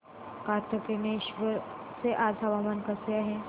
कातनेश्वर चे आज हवामान कसे आहे